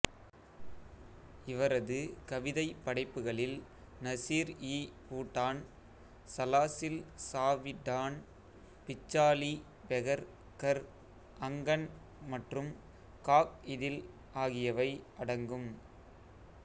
இவரது கவிதைப் படைப்புகளில் நசிர்இபூட்டான் சலாசில் சாவிடான் பிச்சாலி பெகர் கர் அங்கன் மற்றும் காக்இதில் ஆகியவை அடங்கும்